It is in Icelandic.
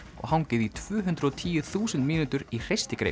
og hangið í tvö hundruð og tíu þúsund mínútur í